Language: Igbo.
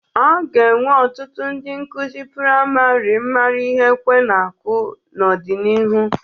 A ga-enwe ọtụtụ ndị nkuzi praịmarị mara ihe ekwe na-akụ n'ọdịnihu.